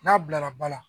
N'a bilara ba la